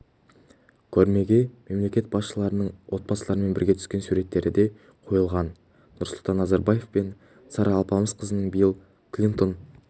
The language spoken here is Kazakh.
көрмеге мемлекет басшыларының отбасыларымен бірге түскен суреттері де қойылған нұрсұлтан назарбаев пен сара алпысқызының билл клинтон